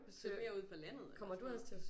Flytte mere ud på landet eller sådan noget